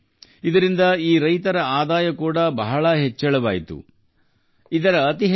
ಇದರಿಂದ ಈ ರೈತರ ಆದಾಯವೂ ಸಾಕಷ್ಟು ಹೆಚ್ಚಿದೆ